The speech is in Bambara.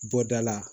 Bɔda la